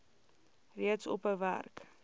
reeds ophou werk